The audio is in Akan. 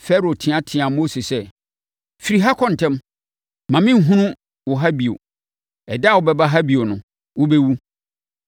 Farao teateaa Mose sɛ, “Firi ha kɔ ntɛm. Mma menhunu wo ha bio. Ɛda a wobɛba ha bio no, wobɛwu.”